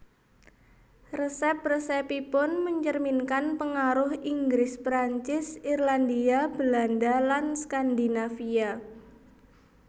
Resep resepipun mencerminkan pengaruh Inggris Perancis Irlandia Belanda lan Skandinavia